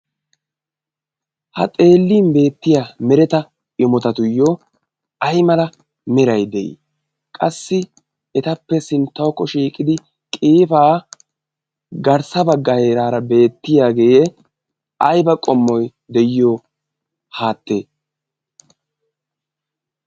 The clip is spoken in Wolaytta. ha xeellin beettiya mereta imotatuyyo ai mala merai de'ii qassi etappe sinttaukko shiiqidi qiifaa garssaba gairaara beettiyaagee aiba qommoi de'iyo haatte?